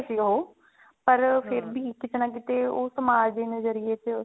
ਉਹ ਪਰ ਕਿਤੇ ਨਾ ਕਿਤੇ ਉਹ ਸਮਾਜ ਨਜ਼ਰਿਏ ਚ